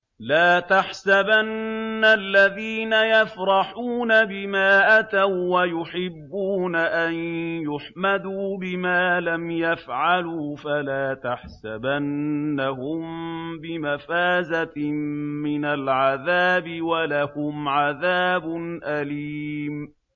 لَا تَحْسَبَنَّ الَّذِينَ يَفْرَحُونَ بِمَا أَتَوا وَّيُحِبُّونَ أَن يُحْمَدُوا بِمَا لَمْ يَفْعَلُوا فَلَا تَحْسَبَنَّهُم بِمَفَازَةٍ مِّنَ الْعَذَابِ ۖ وَلَهُمْ عَذَابٌ أَلِيمٌ